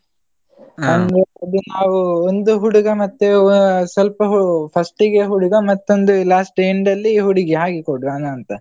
ಅದು ನಾವು ಒಂದು ಹುಡುಗ ಮತ್ತೆ ವಾ~ ಸ್ವಲ್ಪ first ಗೆ ಹುಡುಗ ಮತ್ತೊಂದು, last end ಅಲ್ಲಿ ಹುಡುಗಿ ಹಾಗೆ ಕೊಡುವನಾ ಅಂತ.